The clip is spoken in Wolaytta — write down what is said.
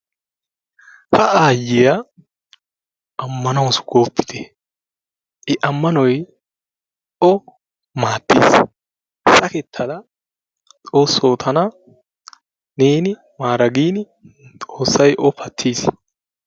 Ha aayiya ammanawusu goopite, i amanoy o maadeessi saketada xoosoo tana neeni maara gin xoosay o patiis.